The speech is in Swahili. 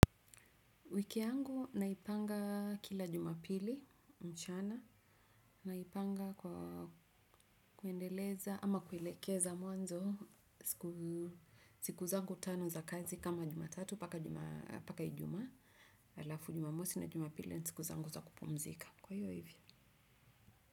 Wiki yangu naipanga kila jumapili mchana. Naipanga kwa kuendeleza ama kuelekeza mwanzo. Siku zangu tano za kazi kama jumatatu mpaka ijuma. Alafu jumamosi na jumapili ni siku zangu za kupumzika. Kwa hivyo hivyo.